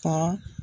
Ka